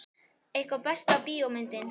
Eitthvað Besta bíómyndin?